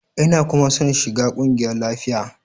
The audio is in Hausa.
Ina kuma son shiga kungiyar lafiya.